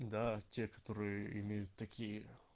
да те которые имеют такие